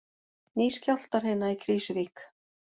Ný skjálftahrina í Krýsuvík